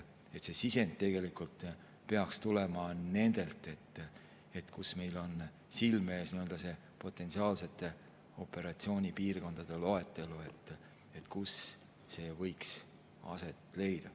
See sisend peaks tulema nendelt, et meil oleks silme ees loetelu potentsiaalsetest operatsioonipiirkondadest, kus see võiks aset leida.